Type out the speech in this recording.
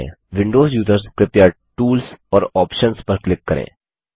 Windows users कृपया tools और options पर क्लिक करें